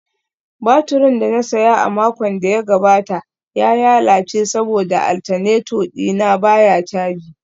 Baturin da na saya a makon da ya gabata ya lalace saboda alternator dina baya caji